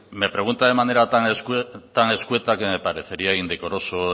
me pregunta de manera tan escueta que me parecería indecoroso